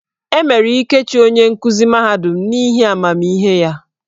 E mere Ikechi onye nkuzi mahadum n'ihi amamihe ya.